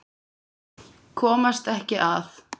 Komast ekki að.